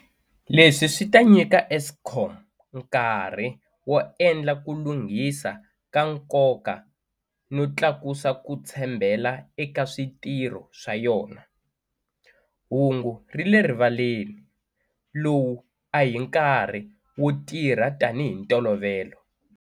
Leswi swi ta nyika Eskom nkarhi wo endla ku lunghisa ka nkoka no tlakusa ku tshembela eka switirho swa yona. Hungu ri le rivaleni- lowu a hi nkarhi wo tirha tanihi ntolovelo.